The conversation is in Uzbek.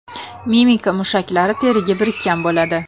Mimika mushaklari teriga birikkan bo‘ladi.